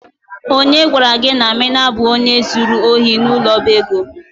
Onye gwara gi na Amina bu onye zuru ohi n'ulo oba ego?